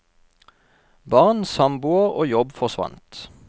Barn, samboer og jobb forsvant.